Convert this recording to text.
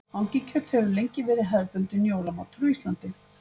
Hangikjöt hefur lengi verið hefðbundinn jólamatur á Íslandi.